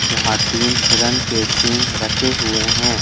जहां तीन हिरण के सींग रखे हुए हैं।